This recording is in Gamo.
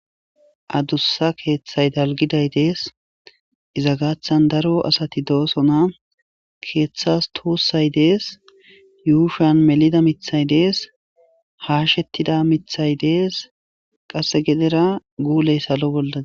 Adussa keeththay dalgiday dees iza gaathan daro asati doosona keeththas tuussay dees yuushan melida mithay dees haashettida mithay dees qasse gedera guuley salo bolla.